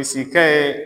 Bilisikɛ ye